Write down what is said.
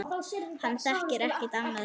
Hann þekkir ekkert annað líf.